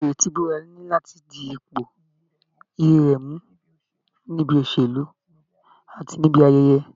Ìrètí ìbúra ni láti di ipò iyì rẹ̀ mú níbi òṣèlú, àti níbi ayẹyẹ